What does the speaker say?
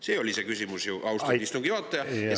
See oli ju see küsimus, austatud istungi juhataja!